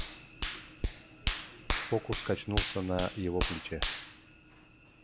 фокус качнулся на его плече